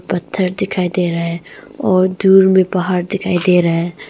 पत्थर दिखाई दे रहे हैं और दूर मे पहाड़ दिखाई दे रहा है।